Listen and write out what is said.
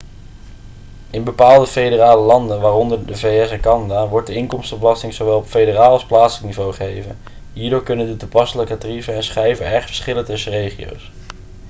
in bepaalde federale landen waaronder de vs en canada wordt de inkomstenbelasting zowel op federaal als plaatselijk niveau geheven hierdoor kunnen de toepasselijke tarieven en schijven erg verschillen tussen regio's